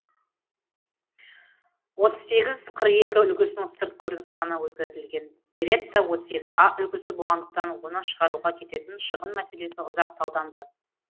отыз сегіз қырық екі үлгісінің сырт көрінісі ғана өзгертілген беретта отыз екі а үлгісі болғандықтан оны шығаруға кететін шығын мәселесі ұзақ талданды